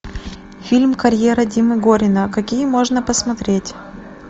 фильм карьера димы горина какие можно посмотреть